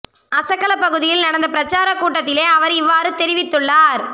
அசகல பகுதியில் நடந்த பிரச்சார கூட்டத்திலேயே அவர் இவ்வாறு தெரிவித்துள்ளார்